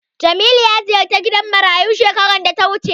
Jamilu ya ziyarci gidan marayu shekarar da ta wuce.